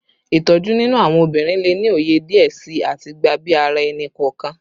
Itoju ninu awọn obinrin le ni oye diẹ sii ati gba bi ara ẹni-kọọkan